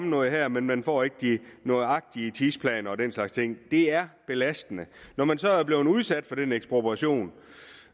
noget her men man får ikke de nøjagtige tidsplaner og den slags ting det er belastende når man så er blevet udsat for den ekspropriation